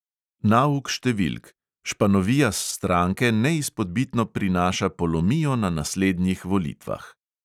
Nauk številk: španovija s stranke neizpodbitno prinaša polomijo na naslednjih volitvah.